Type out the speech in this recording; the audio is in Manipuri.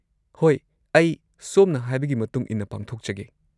ꯍꯣꯏ, ꯑꯩ ꯁꯣꯝꯅ ꯍꯥꯏꯕꯒꯤ ꯃꯇꯨꯡ ꯏꯟꯅ ꯄꯥꯡꯊꯣꯛꯆꯒꯦ꯫